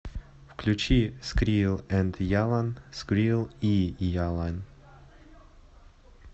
включи скрил энд ялан скрил и ялан